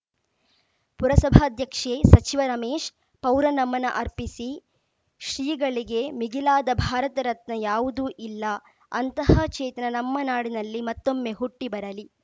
ಪುರಸಭಾಧ್ಯಕ್ಷೆ ಸಚಿವ ರಮೇಶ್‌ ಪೌರನಮನ ಅರ್ಪಿಸಿ ಶ್ರೀಗಳಿಗೆ ಮಿಗಿಲಾದ ಭಾರತರತ್ನ ಯಾವುದೂ ಇಲ್ಲ ಅಂತಹ ಚೇತನ ನಮ್ಮ ನಾಡಿನಲ್ಲಿ ಮತ್ತೊಮ್ಮೆ ಹುಟ್ಟಿಬರಲಿ